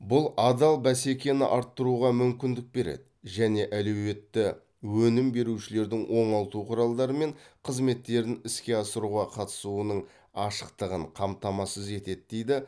бұл адал бәсекені арттыруға мүмкіндік береді және әлеуетті өнім берушілердің оңалту құралдары мен қызметтерін іске асыруға қатысуының ашықтығын қамтамасыз етеді дейді